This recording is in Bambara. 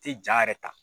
Tɛ ja yɛrɛ ta